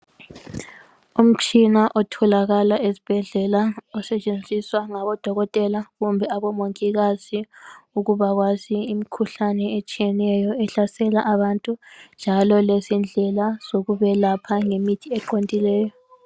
umtshina otholakala esibhedlela osetshenziswa ngabo dokotela kumbe abo mongikazi ukubakwazi imikhuhlane etshiyeneyo ehlasela abantu njalo lezindlela zokubelapha lemithi eqondileyo